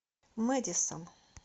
мэдисон